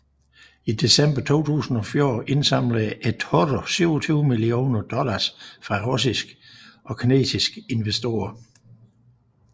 I december 2014 indsamlede eToro 27 millioner dollars fra russiske og kinesiske investorer